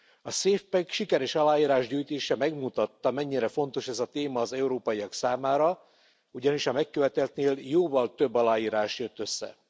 A safe pack sikeres aláírásgyűjtése megmutatta, mennyire fontos ez a téma az európaiak számára, ugyanis a megköveteltnél jóval több aláírás jött össze.